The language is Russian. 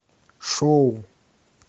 шоу